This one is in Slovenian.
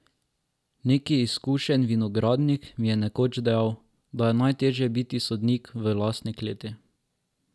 Neki izkušen vinogradnik mi je nekoč dejal, da je najtežje biti sodnik v lastni kleti.